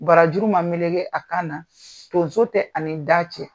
Barajuru ma melege a kan na, tonso tɛ ani da cɛ.